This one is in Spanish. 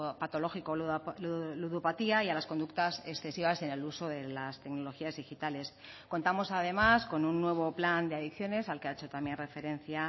patológico ludopatía y a las conductas excesivas en el uso de las tecnologías digitales contamos además con un nuevo plan de adicciones al que ha hecho también referencia